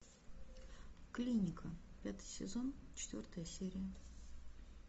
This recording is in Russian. клиника пятый сезон четвертая серия